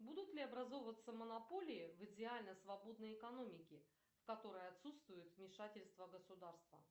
будут ли образовываться монополии в идеально свободной экономике в которой отсутствует вмешательство государства